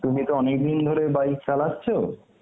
তুমি তো অনেক দিন ধরে bike চালাচ্ছো.